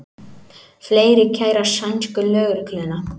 Fleiri kæra sænsku lögregluna